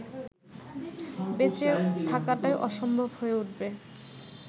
বেঁচে থাকাটাই অসম্ভব হয়ে উঠবে